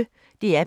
DR P1